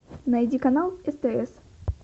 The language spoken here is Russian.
найди канал стс